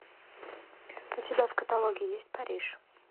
у тебя в каталоге есть париж